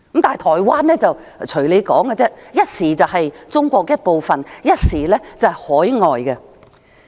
但是，台灣人又如何，一時說他們是中國一部分，一時說他們是海外人士。